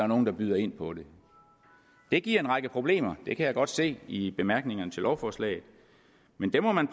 nogen der byder ind på det det giver en række problemer det kan jeg godt se i bemærkningerne til lovforslaget men dem må man